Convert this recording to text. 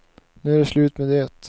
Nu är det slut med det.